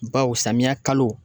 Baw samiyɛ kalo